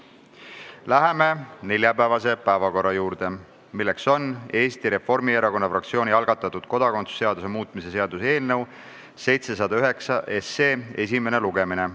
Läheme neljapäevase päevakorra juurde, milleks on Eesti Reformierakonna fraktsiooni algatatud kodakondsuse seaduse muutmise seaduse eelnõu esimene lugemine.